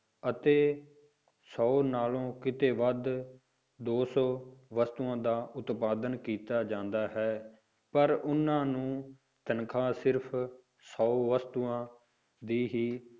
ਅਤੇ ਸੌ ਨਾਲੋਂਂ ਕਿਤੇ ਵੱਧ ਦੋ ਸੌ ਵਸਤੂਆਂ ਦਾ ਉਤਪਾਦਨ ਕੀਤਾ ਜਾਂਦਾ ਹੈ, ਪਰ ਉਹਨਾਂ ਨੂੰ ਤਨਖਾਹ ਸਿਰਫ਼ ਸੌ ਵਸਤੂਆਂ ਦੀ ਹੀ